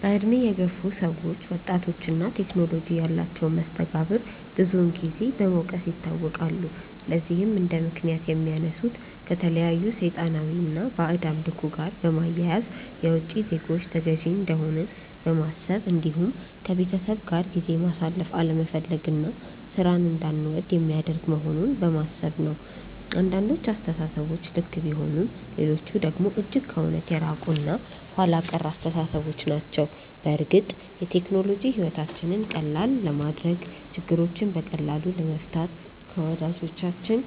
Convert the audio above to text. በእድሜ የገፉ ሰዎች ወጣቶች እና ቴክኖሎጂ ያላቸውን መስተጋብር ብዙን ጊዜ በመውቀስ ይታወቃሉ። ለዚህም እንደምክንያት የሚያነሱት ከተለያዩ ሰይጣናዊ እና ባዕድ አምልኮ ጋር በማያያዝ፣ የውቺ ዜጎች ተገዢ እንደሆንን በማሰብ እንዲሁም ከቤተሰብ ጋር ጊዜ ማሳለፍ አለመፈለግ እና ሥራን እንዳንወድ የሚያደርግ መሆኑን በማሰብ ነው። አንዳንዶቹ አስተሳሰቦች ልክ ቢሆኑም ሌሎቹ ደግሞ እጅግ ከእውነት የራቁ እና ኋላ ቀር አስተሳሰቦች ናቸው። በእርግጥ ቴክኖሎጂ ሕይወታችንን ቀላል ለማድረግ፣ ችግሮችን በቀላሉ ለመፍታት፣ ከወዳጆቻችን